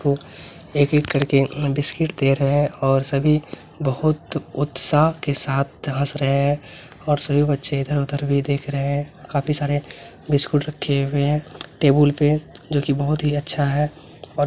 एक-एक कर के बिस्किट दे रहे हैं और सभी बहुत उत्साह के साथ हंस रहे हैं और सभी बच्चे इधर-उधर भी देख रहे हैं काफी सारे बिस्किट रखे हुए है टेबुल पे जो कि बहुत ही अच्छा है और --